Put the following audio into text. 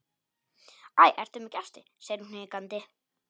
Æ, ertu með gesti, segir hún hikandi.